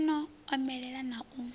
yo no omelela na u